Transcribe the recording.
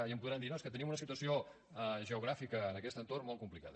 i em podran dir no és que tenim una situació geogràfica en aquest entorn molt complicada